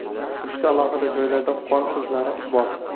Uchta alohida joylarda qon izlari bor.